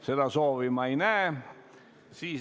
Seda soovi ma ei näe.